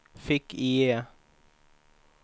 fick-IE